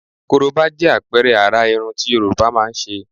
Korobá jẹ́ àpẹẹrẹ àrà irun tí Yorùbá máa ń ṣe.